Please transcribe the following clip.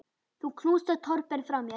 Þú knúsar Torben frá mér.